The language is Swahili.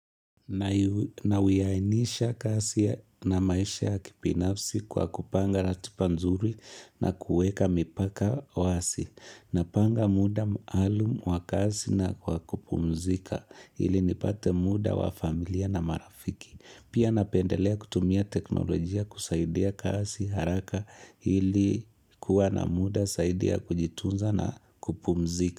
Nauwiainisha kasi na maisha ya kipinafsi kwa kupanga ratipa nzuri na kueka mipaka wasi. Napanga muda maalum wa kasi na kwa kupumzika. Ili nipate muda wa familia na marafiki Pia napendelea kutumia teknolojia kusaidia kasi haraka hili kuwa na muda saidi ya kujitunza na kupumzika.